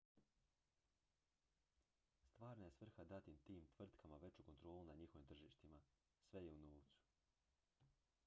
stvarna je svrha dati tim tvrtkama veću kontrolu nad njihovim tržištima sve je u novcu